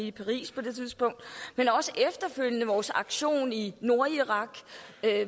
i paris på det tidspunkt men også efterfølgende vores aktion i nordirak